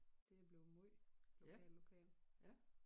Det er bleven måj lokal lokal